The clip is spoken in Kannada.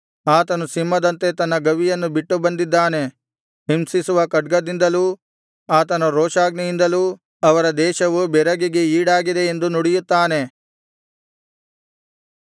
ಆತನು ಸಿಂಹದಂತೆ ತನ್ನ ಗವಿಯನ್ನು ಬಿಟ್ಟು ಬಂದಿದ್ದಾನೆ ಹಿಂಸಿಸುವ ಖಡ್ಗದಿಂದಲೂ ಆತನ ರೋಷಾಗ್ನಿಯಿಂದಲೂ ಅವರ ದೇಶವು ಬೆರಗಿಗೆ ಈಡಾಗಿದೆ ಎಂದು ನುಡಿಯುತ್ತಾನೆ